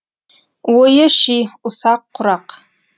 ойы ши ұсақ құрақ